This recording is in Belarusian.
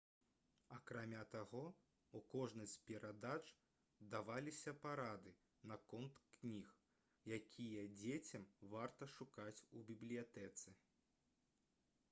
акрамя таго у кожнай з перадач даваліся парады наконт кніг якія дзецям варта шукаць у бібліятэцы